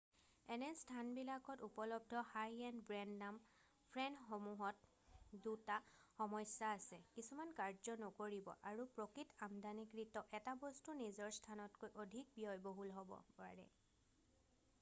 এনে স্থানবিলাকত উপলব্ধ হাই-এণ্ড ব্ৰেণ্ড-নাম ফ্ৰেমসমূহত দুটা সমস্যা আছে কিছুমান কাৰ্য নকৰিব পাৰে আৰু প্ৰকৃত আমদানিকৃত এটা বস্তু নিজৰ স্থানতকৈ অধিক ব্যয়বহুল হ'ব পাৰে